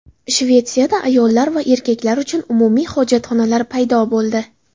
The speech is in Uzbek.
Shvetsiyada ayollar va erkaklar uchun umumiy hojatxonalar paydo bo‘ldi.